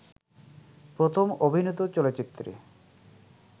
প্রথম অভিনীত চলচ্চিত্রে